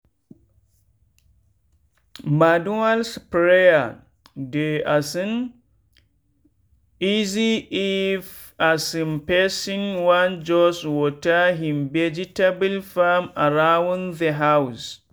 manual sprayer dey um easyif um person wan just water him vegetable farm around the house.